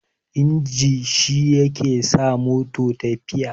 inji shi yake sa mota tafiya